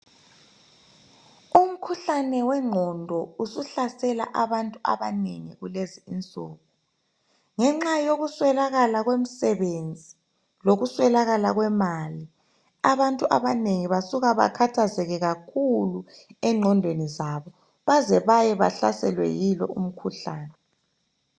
Umkhuhlane owengqondo usuhlasela abantu abanengi kulezi insuku ngenxa yokuswelakala kwemisebenzi lokuswelakala kwemali abantu abanengi basuka bakhathazeke kakhulu engqondweni zabo baze baye bahlaselwe yilo umkhuhlane.